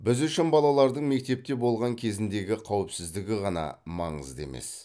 біз үшін балалардың мектепте болған кезіндегі қауіпсіздігі ғана маңызды емес